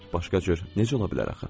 Başqa cür necə ola bilər axı?